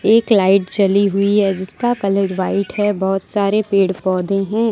एक लाइट जली हुई है इसका कलर व्हाइट है बहोत सारे पेड़ पौधे हैं।